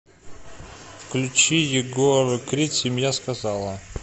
включи егор крид семья сказала